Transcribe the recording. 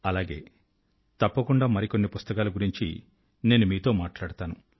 అలాగే తప్పకుండా మరిన్ని పుస్తకాల గురించి నేను మీతో మాట్లాడుతాను